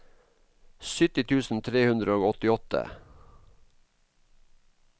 sytti tusen tre hundre og åttiåtte